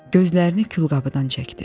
Gözlərini külqabıdan çəkdi.